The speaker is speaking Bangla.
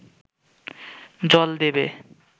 জল দেবে